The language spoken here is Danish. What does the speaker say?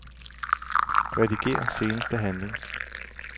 Rediger seneste handling.